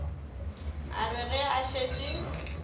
a re ge a šetše